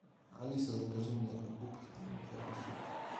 алиса закажи мне губки для мытья посуды